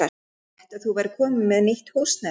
Ég frétti að þú værir komin með nýtt húsnæði.